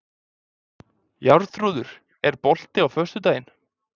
Jarþrúður, er bolti á föstudaginn?